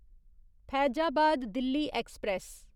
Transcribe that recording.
Faizabad Delhi express